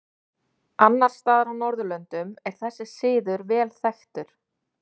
Annars staðar á Norðurlöndum er þessi siður vel þekktur.